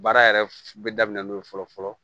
Baara yɛrɛ bɛ daminɛ n'o ye fɔlɔ fɔlɔ